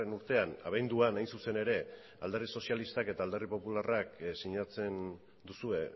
urtean abenduan hain zuzen ere alderdi sozialistak eta alderdi popularrak sinatzen duzue